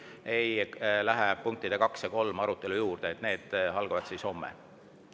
Täna me kindlasti ei lähe punktide kaks ja kolm arutelu juurde, need arutelud algavad homme.